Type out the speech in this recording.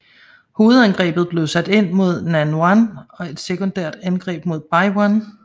Hovedangrebet blev sat ind mod Nanyuan og et sekundært angreb mod Beiyuan